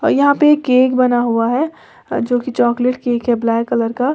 यहां पे केक बना हुआ है जो की चॉकलेट केक है ब्लैक कलर का।